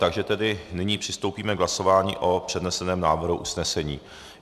Takže tedy nyní přistoupíme k hlasování o předneseném návrhu usnesení.